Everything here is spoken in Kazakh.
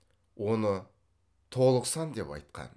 оны толық сан деп айтқан